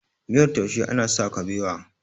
miyar taushe ana sa kabewa